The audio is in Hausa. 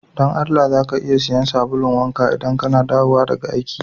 Don Allah ,za ka iya siyan sabulun wanka idan kana dawowa daga aiki?